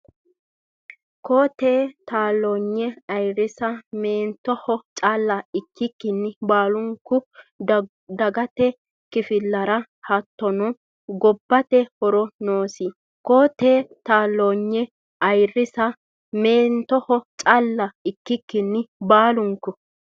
Koo-teete taalloonye ayirrisa meentoho calla ikkikkinni baalunku dagate kifilera hattono gobbate horo noosi Koo-teete taalloonye ayirrisa meentoho calla ikkikkinni baalunku.